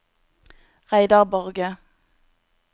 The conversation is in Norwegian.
Reidar Borge